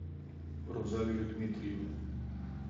рузалию дмитриевну